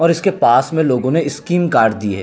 और इसके पास में लोगो ने स्किन कार्ड दिए --